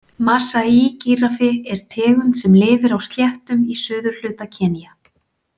Masai-gíraffi er tegund sem lifir á sléttum í suðurhluta Kenía.